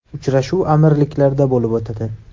Uchrashuv Amirliklarda bo‘lib o‘tadi.